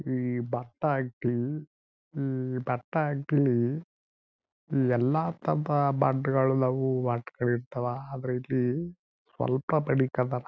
ಈ ಭತ್ತ ಹಾಕ್ತಿವಿ ಈ ಭತ್ತ ಎಲ್ಲ ಆದ್ರೆ ಇಲ್ಲಿ ಸ್ವಲ್ಪ ಮಡಿಕೊಂಡರ.